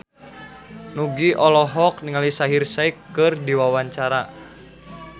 Nugie olohok ningali Shaheer Sheikh keur diwawancara